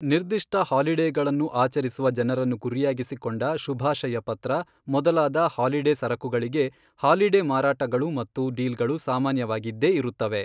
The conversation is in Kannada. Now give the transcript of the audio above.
ನಿರ್ದಿಷ್ಟ ಹಾಲಿಡೇಗಳನ್ನು ಆಚರಿಸುವ ಜನರನ್ನು ಗುರಿಯಾಗಿಸಿಕೊಂಡ ಶುಭಾಶಯಪತ್ರ ಮೊದಲಾದ ಹಾಲಿಡೇ ಸರಕುಗಳಿಗೆ ಹಾಲಿಡೇ ಮಾರಾಟಗಳು ಮತ್ತು ಡೀಲ್ಗಳು ಸಾಮಾನ್ಯವಾಗಿದ್ದೇ ಇರುತ್ತವೆ.